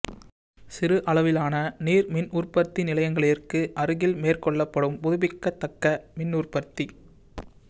சிறு அளவிலான நீர்மின் உற்பத்தி நிலையங்களிற்கு அருகில் மேற்கொள்ளப்படும் புதுப்பிக்கத்தக்க மின்னுற்பத்தி